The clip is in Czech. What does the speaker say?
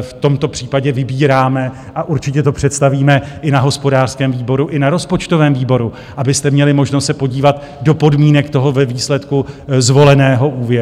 v tomto případě vybíráme, a určitě to představíme i na hospodářském výboru i na rozpočtovém výboru, abyste měli možnost se podívat do podmínek toho ve výsledku zvoleného úvěru.